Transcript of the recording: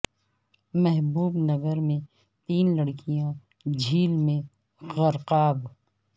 محبو ب نگر میں تین لڑکیاں جھیل میں غرقاب